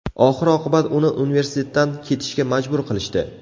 Oxir-oqibat uni universitetdan ketishga majbur qilishdi.